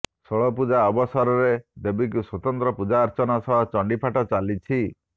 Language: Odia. ଷୋଳପୂଜା ଅବସରରେ ଦେବୀଙ୍କୁ ସ୍ୱତନ୍ତ୍ର ପୂଜାର୍ଚ୍ଚନା ସହ ଚଣ୍ଡୀପାଠ ଚାଲିଛି